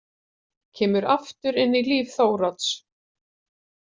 Kemur aftur inn í líf Þórodds.